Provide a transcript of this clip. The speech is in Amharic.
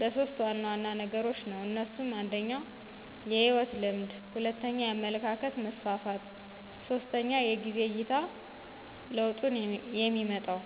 በሦስት ዋና ዋና ነገሮች ነው። እነሱም 1, የህይወት ልምድ 2, የአመለካከት መስፍፍት 3, የጊዜ አይታ ለውጡንየሚመጣው።